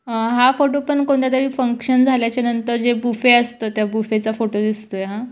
हा फोटो पण कोणत्या तरी फंक्शन झाल्याच्या नंतर जे बूफे [ असत त्या बुफे चा फोटो दिसतोय हा.